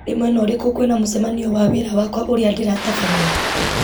nĩ mwena ũrĩkũ kwĩna mũcemanio wa wĩra wakwa ũrĩa ndĩratabania